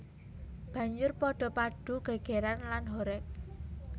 Banjur padha padu gègèran lan horeg